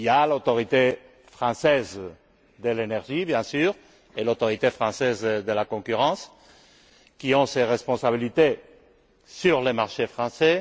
L'autorité française de l'énergie, bien sûr, et l'autorité française de la concurrence, exercent ces responsabilités sur le marché français.